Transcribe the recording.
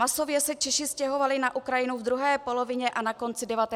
Masově se Češi stěhovali na Ukrajinu v druhé polovině a na konci 19. století.